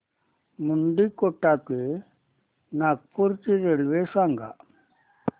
मुंडीकोटा ते नागपूर ची रेल्वे सांगा